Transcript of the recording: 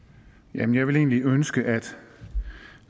jeg ville egentlig ønske at